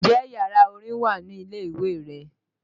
Ǹjẹ́ yàrá orin wà ní ilé ìwé rẹ?